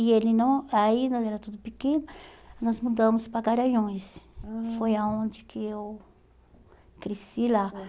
E ele não, aí nós era tudo pequeno, nós mudamos para Garanhuns, foi aonde que eu cresci lá.